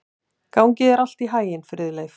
Gangi þér allt í haginn, Friðleif.